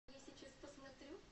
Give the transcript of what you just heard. я сейчас посмотрю